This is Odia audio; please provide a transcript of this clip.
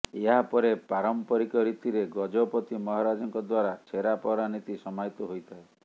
ଏହାପରେ ପାରମ୍ପରିକ ରୀତିରେ ଗଜପତି ମହାରାଜାଙ୍କ ଦ୍ୱାରା ଛେରାପହଂରା ନୀତି ସମାହିତ ହୋଇଥାଏ